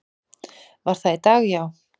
Var það í dag, já?